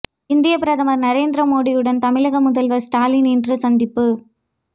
இந்தியப் பிரதமர் நரேந்திர மோடியுடன் தமிழக முதல்வர் ஸ்டாலின் இன்று சந்திப்பு